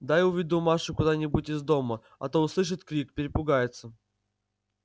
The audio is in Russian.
дай уведу машу куда-нибудь из дому а то услышит крик перепугается